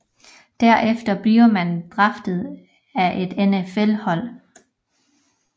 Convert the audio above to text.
Derefter bliver man draftet af et NFL hold